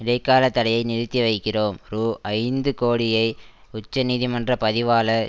இடை கால தடையை நிறுத்தி வைக்கிறோம் ரூஐந்து கோடியை உச்ச நீதிமன்ற பதிவாளர்